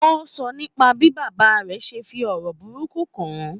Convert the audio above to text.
Ó sọ̀rọ̀ nípa bí bàbá rẹ̀ ṣe ń fi ọ̀rọ̀ burúkú kàn án.